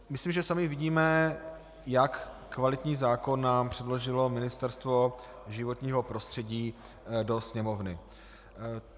Myslím, že sami vidíme, jak kvalitní zákon nám předložilo Ministerstvo životního prostředí do Sněmovny.